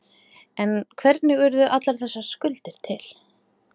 En hvernig urðu allar þessar skuldir til?